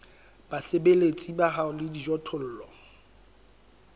basebeletsi ba hao le dijothollo